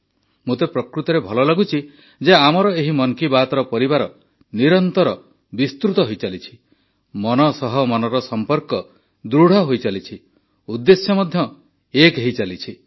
ମୋତେ ପ୍ରକୃତରେ ଭଲ ଲାଗୁଛି ଯେ ଆମର ଏହି ମନ୍ କି ବାତ୍ର ପରିବାର ନିରନ୍ତର ବିସ୍ତୃତ ହୋଇଚାଲିଛି ମନ ସହ ମନର ସମ୍ପର୍କ ଦୃଢ଼ ହୋଇଚାଲିଛି ଉଦ୍ଦେଶ୍ୟ ମଧ୍ୟ ଏକ ହୋଇଚାଲିଛି